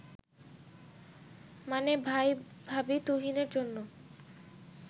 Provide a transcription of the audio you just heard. মানে ভাই-ভাবি তুহিনের জন্য